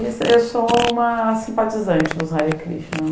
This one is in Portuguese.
E eu sou uma simpatizante dos Hare Krishna.